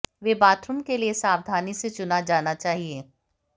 वे bathroom के लिए सावधानी से चुना जाना चाहिए